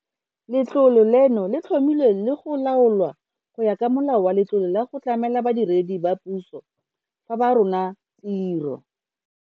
Letlole leno le tlhomilwe le go laolwa go ya ka Molao wa Letlole la go Tlamela Badiredi ba Puso fa ba Rola Tiro.